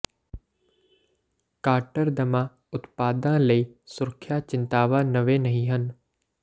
ਕਾੱਟਰ ਦਮਾ ਉਤਪਾਦਾਂ ਲਈ ਸੁਰੱਖਿਆ ਚਿੰਤਾਵਾਂ ਨਵੇਂ ਨਹੀਂ ਹਨ